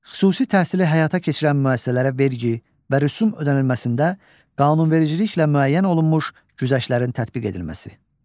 Xüsusi təhsili həyata keçirən müəssisələrə vergi və rüsum ödənilməsində qanunvericiliklə müəyyən olunmuş güzəştlərin tətbiq edilməsi.